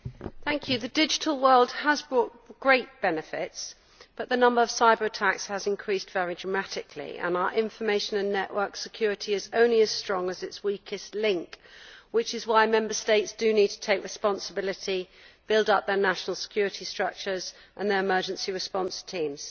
Mr President, the digital world has brought great benefits, but the number of cyber attacks has increased very dramatically, and our information and network security is only as strong as its weakest link, which is why the Member States need to take responsibility and build up their national security structures and emergency response teams.